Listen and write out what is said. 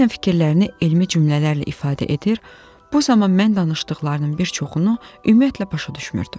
Bəzən fikirlərini elmi cümlələrlə ifadə edir, bu zaman mən danışdıqlarının bir çoxunu ümumiyyətlə başa düşmürdüm.